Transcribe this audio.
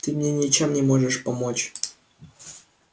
ты мне ничем не можешь помочь